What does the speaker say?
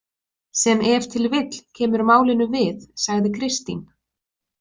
Sem ef til vill kemur málinu við, sagði Kristín.